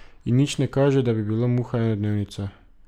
In nič ne kaže, da bi bil muha enodnevnica.